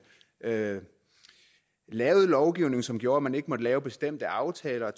lavede lavede lovgivning som gjorde at man ikke måtte lave bestemte aftaler